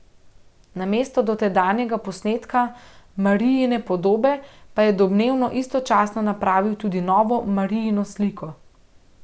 Namesto dotedanjega posnetka Marijine podobe pa je domnevno istočasno napravil tudi novo Marijino sliko.